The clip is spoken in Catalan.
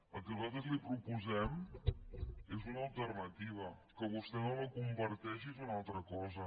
el que nosaltres li proposem és una alternativa que vostè no la comparteixi és una altra cosa